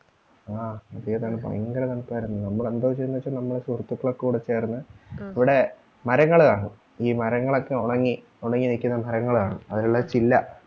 ആഹ് ഭയങ്കര തണുപ്പാ ഭയങ്കര തണുപ്പാര്ന്ന് നമ്മളെന്താ ചെയ്യന്നെന്ന് വെച്ച നമ്മുടെ സുഹൃത്തുക്കളൊക്കെക്കൂടെ ചേർന്ന് ഇവിടെ മരങ്ങള് കാണും ഈ മരങ്ങളൊക്കെ ഒണങ്ങി ഒണങ്ങി നിക്കുന്ന മരങ്ങള് കാണും അതെല്ലാം ചില്ല